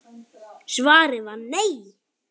Svarið var nei.